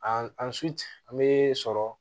An an an bɛ sɔrɔ